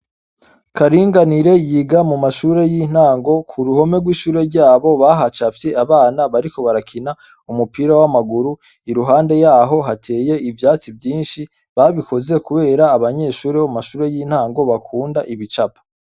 Karinganire yiga mu mashure y'intango. K'uruhome rw'ishure ryabo bahacafye abana bariko barakina umupira w'amaguru, iruhande yaho hateye ibyatsi vyinshi. Babikoze kubera abanyeshuri bo mashure y'intango bakunda ibicapo.